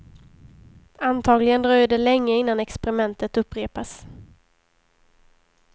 Antagligen dröjer det länge innan experimentet upprepas.